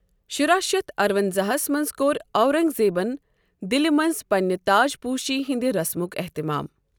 شُراہ شتھ ارٕونزاہا ہس منٛز کوٚر اورنگ زیبَن دِلہِ منٛز پنِنہِ تاجپوُشی ہٕنٛدِ رسمک اہتمام ۔